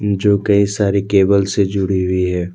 जो कई सारी केबल्स से जुड़ी हुई है।